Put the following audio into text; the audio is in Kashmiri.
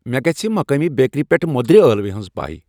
مے گژِھہ مقٲمی بیکری پیٹھ موٚدرِ ألوِ ہٕنزۍ پایی ۔